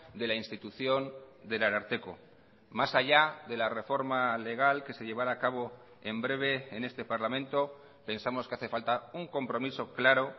de la institución del ararteko más allá de la reforma legal que se llevará a cabo en breve en este parlamento pensamos que hace falta un compromiso claro